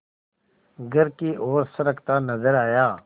घर की ओर सरकता नजर आया